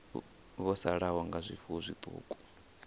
vho sala nga zwifuwo zwiṱuku